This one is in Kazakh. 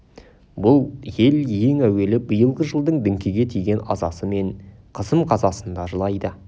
бұл ел ең әуелі биылғы жылдың діңкеге тиген азасы мен қысым қазасына жылайды